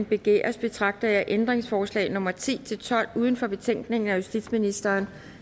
begæres betragter jeg ændringsforslag nummer ti til tolv uden for betænkningen af justitsministeren